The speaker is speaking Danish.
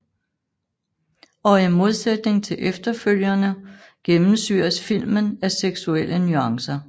Og i modsætning til efterfølgerne gennemsyres filmen af seksuelle nuancer